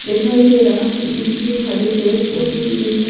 दिखाई दे रहा है बीच में हरे पेड़ पौधे भी दिख रहे।